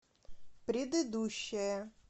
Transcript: предыдущая